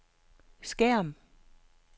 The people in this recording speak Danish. skærm